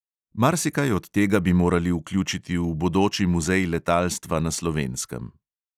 Marsikaj od tega bi morali vključiti v bodoči muzej letalstva na slovenskem.